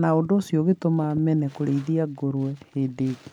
na ũndũ ũcio ũgĩtũma mene kũrĩithia ngũrũwe hĩndĩ ĩngĩ.